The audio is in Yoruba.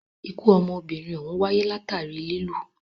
Ikú ọmọbìnrin òhún wáyé látàri lilù.